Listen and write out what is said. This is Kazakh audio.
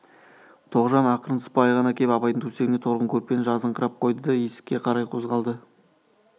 тоғжан ақырын сыпайы ғана кеп абайдың төсегіне торғын көрпені жазыңқырап қойды да есікке қарай қозғалды